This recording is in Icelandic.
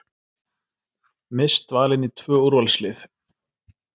Mist valin í tvö úrvalslið